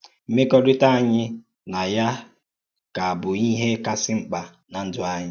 Mmèkọ́rítà ànyí na Ya kà bụ̀ íhè kàsí mkpa nà ndú ànyí.